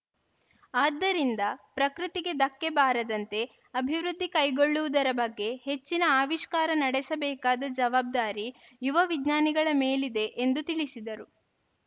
ಆದ್ದರಿಂದ ಪ್ರಕೃತಿಗೆ ಧಕ್ಕೆ ಬಾರದಂತೆ ಅಭಿವೃದ್ಧಿ ಕೈಗೊಳ್ಳುವುದರ ಬಗ್ಗೆ ಹೆಚ್ಚಿನ ಅವಿಷ್ಕಾರ ನಡೆಸಬೇಕಾದ ಜವಾಬ್ದಾರಿ ಯುವ ವಿಜ್ಞಾನಿಗಳ ಮೇಲಿದೆ ಎಂದು ತಿಳಿಸಿದರು